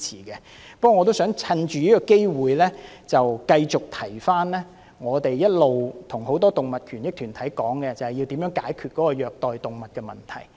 不過，我亦想藉此機會，再次一提我們一直與很多動物權益團體討論的議題，即如何解決虐待動物的問題。